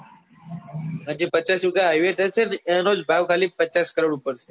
પછી જે પચાસ વિગા highway touch છે ને એનો જ ભાવ ખાલી પચાસ કરોડ ઉપર છે